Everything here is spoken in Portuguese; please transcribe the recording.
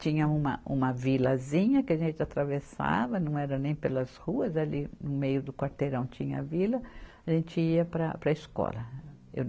Tinha uma, uma vilazinha que a gente atravessava, não era nem pelas ruas, ali no meio do quarteirão tinha a vila, a gente ia para, para a escola.